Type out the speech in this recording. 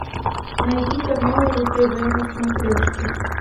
найди канал ру тв на смотрешке